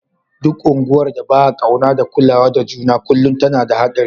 Duk unguwar da ba'a kauna da kulawa da juna kullum tana da hadari.